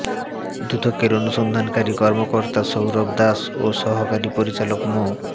দুদকের অনুসন্ধানকারী কর্মকর্তা সৌরভ দাস ও সহকারী পরিচালক মো